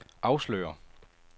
afslører